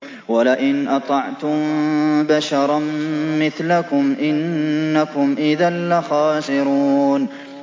وَلَئِنْ أَطَعْتُم بَشَرًا مِّثْلَكُمْ إِنَّكُمْ إِذًا لَّخَاسِرُونَ